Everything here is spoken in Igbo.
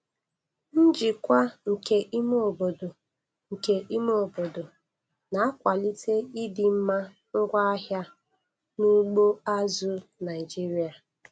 Njikwa nke ime obodo nke ime obodo na-akwalite ịdịmma ngwaahịa n'ugbo azụ̀ Naịjiria.